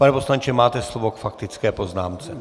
Pane poslanče, máte slovo k faktické poznámce.